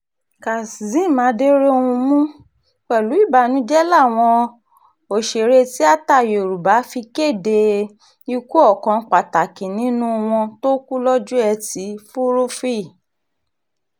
kazeem aderohunmu pẹ̀lú ìbànújẹ́ làwọn òṣèré tiata yorùbá fi kéde ikú ọkàn pàtàkì nínú wọn tó kú lọ́jọ́ etí furuufee